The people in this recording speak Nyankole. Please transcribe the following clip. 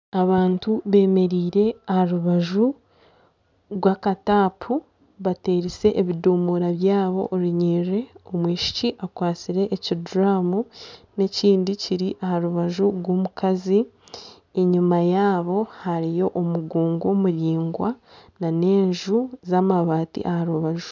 Abantu bemereire aha rubaju rw'akatapu baterize ebidomora byabo orunyerere, omwishiki akwatsire ekiduramu n'ekindi Kiri aha rubaju rw'omukazi enyima yabo hariyo omugongo muraingwa nana enju z'amabati aha rubaju.